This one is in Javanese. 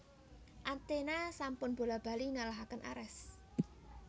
Athena sampun bola bali ngalahaken Ares